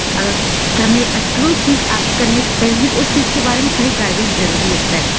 आ हमें अ कोई चीज़ आगे करने से पहले हमें उस चीज़ के बारे में सही गाइडेंस ज़रूरी होता है।